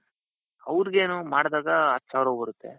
ಅವರಿಗೇನು ಮಾಡ್ದಾಗ ಹತ್ತು ಸಾವಿರ ಬರುತ್ತೆ.